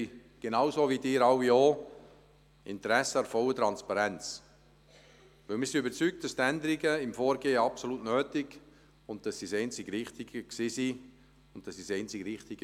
Wir haben, genauso wie Sie alle auch, Interesse an der vollen Transparenz, denn wir sind überzeugt, dass die Änderungen im Vorgehen absolut nötig und das einzig Richtige waren, dass sie das einzig Richtige .